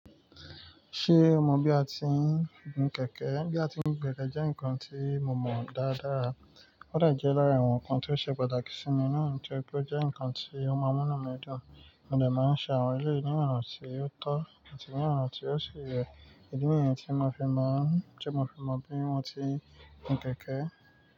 Ṣé o mọ bí a ti ń gun kẹ̀kẹ́? Bí a ti ń gun kẹ̀kẹ́ jẹ́ nǹkan tí mo mọ dáadáa. Ó dà jẹ́ lára àwọn nǹkan tí ó ṣe pàtàkì sí mi náà nítorí pé ó jẹ́ nǹkan tí ó máa múnú mi dùn. Mo dẹ̀ má n se àwọn eléyìí ni ọ̀nà tí ó tọ́ àti ní ọ̀nà ti o si yẹ. Ìdí nìyẹn tí mo fi mọ, tí mo fi mọ bí wọ́n ti ń gun kẹ̀kẹ́.